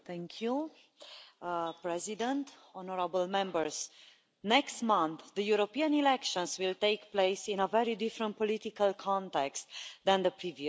Mr President, honourable Members, next month the European elections will take place in a very different political context than the previous ones.